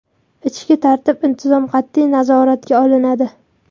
Ichki tartib-intizom qat’iy nazoratga olinadi.